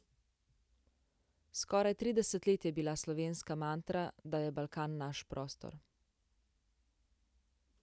Skoraj trideset let je bila slovenska mantra, da je Balkan naš prostor.